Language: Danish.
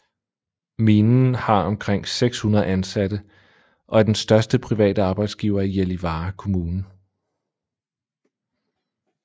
Minen har omkring 600 ansatte og er den største private arbejdsgiver i Gällivare kommune